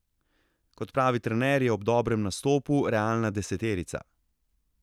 Kot pravi trener, je ob dobrem nastopu realna deseterica.